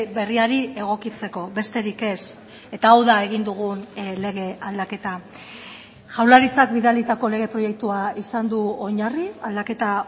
berriari egokitzeko besterik ez eta hau da egin dugun lege aldaketa jaurlaritzak bidalitako lege proiektua izan du oinarri aldaketa